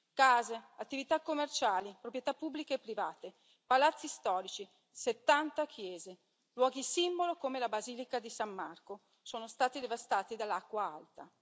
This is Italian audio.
Case, attività commerciali, proprietà pubbliche e private, palazzi storici, 70 chiese, luoghi simbolo come la Basilica di San Marco sono stati devastati dall'acqua alta.